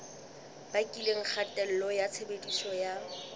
bakileng kgatello ya tshebediso ya